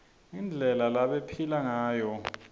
indlela lebabephila ngayo